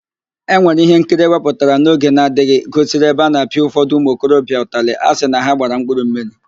Ewere ihe nkiri ewepụtara n'oge n'adịghị gosiri ebe a na-apịa ụfọdụ ụmụ okorobịa ụtalị asị na ha gbara 'mkpụrụmmiri'